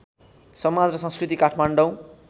समाज र संस्कृति काठमाडौँ